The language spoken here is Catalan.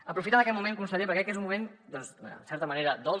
aprofitem aquest moment conseller perquè crec que és un moment doncs en certa manera dolç